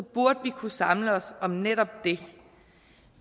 burde vi kunne samle os om netop det